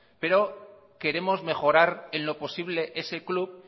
pero queremos mejorar en lo posible ese club